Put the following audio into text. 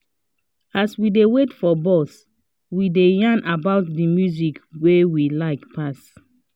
as we dey wait for bus we dey yarn about the music wey we like pass